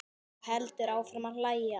Og heldur áfram að hlæja.